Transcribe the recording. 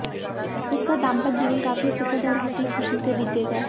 उसका दाम्पत्य जीवन काफी सुखद और हंसी खुशी से बीतेगा